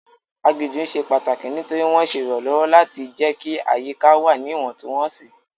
Aginjù ṣe pàtàkì nítorí wọ́n ń ṣe ìrànlọ́wọ́ láti jẹ́ kí àyíká wà ní Ìwọ̀ntúnwọ̀nsì